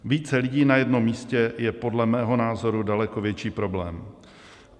Více lidí na jednom místě je podle mého názoru daleko větší problém.